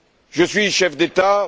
Je suis chef d'État.